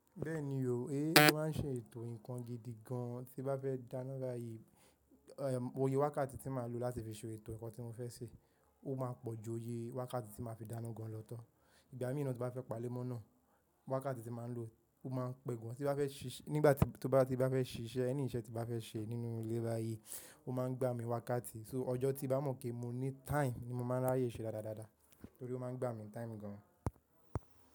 Bẹ́ẹ̀ni yóò, e mo máa ń ṣe ètò ǹkan gidi gan. Tí n bá fẹ́ dáná báyìí, òye wákàtí tí màá lò láti fi ṣe ètò ǹkan tí mo fẹ́ ṣe, ó máa pọ̀ ju òye wákàtí tí màá fi dáná gan lọ tán. Ìgbà mìí náà tí n bá fẹ́ pa lé mọ́ náà, wákàtí tí màá lò ó máa ń pẹ́ gan. Tí bá fẹ́ ṣíṣe nígbàtí, tó bá ti bá fẹ́ ṣe iṣẹ́ ẹni iṣẹ́ tí n bá fẹ́ ṣe nínú ilé báyìí, ó máa ń gbà mí wákàtí. So ọjọ́ tí bá mọ̀ pé mo ní time ni mo máa ń ráyè ṣe dáadáa dáadáa, torí ó máa ń gbà mí ń time gan.